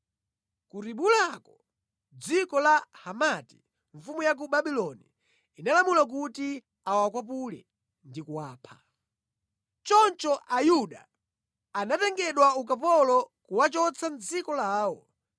Ku Ribulako, mʼdziko la Hamati, mfumu ya ku Babuloni inalamula kuti awakwapule ndi kuwapha. Choncho Ayuda anatengedwa ukapolo kuwachotsa mʼdziko lawo.